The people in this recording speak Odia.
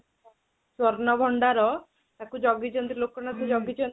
ସୂର୍ଣ୍ଣ ଭଣ୍ଡାର, ତାକୁ ଯଗିଛନ୍ତି ଲୋକନାଥ ଯଗିଛନ୍ତି